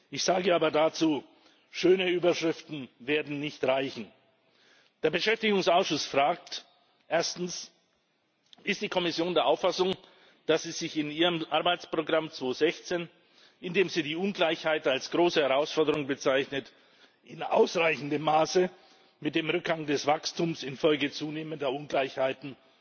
Ich sage aber dazu Schöne Überschriften werden nicht reichen. Der Beschäftigungsausschuss fragt Erstens Ist die Kommission der Auffassung, dass es sich in ihrem Arbeitsprogramm 216, in dem sie die Ungleichheit als große Herausforderung bezeichnet, in ausreichendem Maße mit dem Rückgang des Wachstums infolge zunehmender Ungleichheiten